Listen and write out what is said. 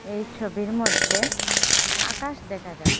এই ছবির মদ্যে আকাশ দেকা যায়।